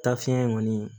Ta fiɲɛ in kɔni